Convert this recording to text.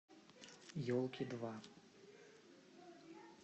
елки два